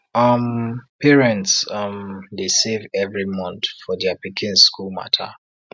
um parents um dey save every month for their pikin school matter